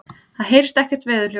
Það heyrist ekkert veðurhljóð.